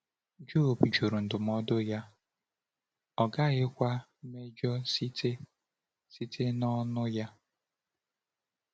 Jọb jụrụ ndụmọdụ ya, ọ gaghịkwa “mejọ site site n’ọnụ ya.”